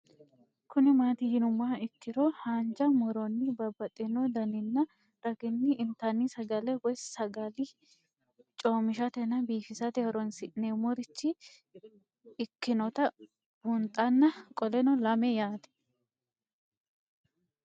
Kuni mati yinumoha ikiro hanja muroni babaxino daninina ragini intani sagale woyi sagali comishatenna bifisate horonsine'morich ikinota bunxana qoleno lame yaate